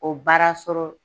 O baara sɔrɔ